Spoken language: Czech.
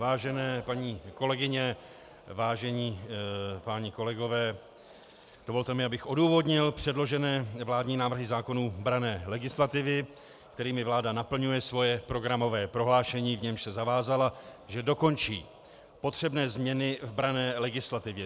Vážené paní kolegyně, vážení páni kolegové, dovolte mi, abych odůvodnil předložené vládní návrhy zákonů branné legislativy, kterými vláda naplňuje svoje programové prohlášení, v němž se zavázala, že dokončí potřebné změny v branné legislativě.